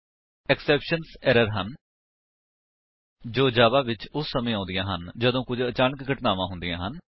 exceptions errors ਹਨ ਜੋ Java ਵਿੱਚ ਉਸ ਸਮੇਂ ਆਉਂਦੀਆਂ ਹਨ ਜਦੋਂ ਕੁੱਝ ਅਚਾਨਕ ਘਟਨਾਵਾਂ ਹੁੰਦੀਆਂ ਹਨ